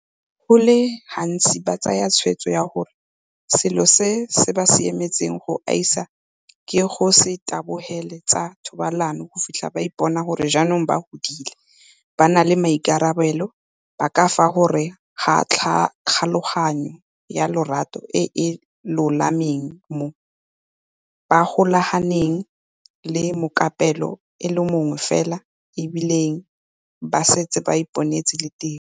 Go le gantsi ba tsaya tshwetso ya gore selo se se ba siametseng go gaisa ke go se tabogele tsa thobalano go fitlha ba ipona gore jaanong ba godile, ba na le maikarabelo, ba ka fa gare ga kgolagano ya lorato e e lolameng moo ba golaganeng le mokapelo a le mongwe fela e bile ba setse ba iponetse le tiro.